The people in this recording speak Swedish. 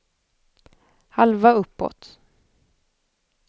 halva uppåt